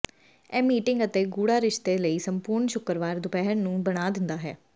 ਇਹ ਮੀਟਿੰਗ ਅਤੇ ਗੂੜ੍ਹਾ ਰਿਸ਼ਤੇ ਲਈ ਸੰਪੂਰਣ ਸ਼ੁੱਕਰਵਾਰ ਦੁਪਹਿਰ ਨੂੰ ਬਣਾ ਦਿੰਦਾ ਹੈ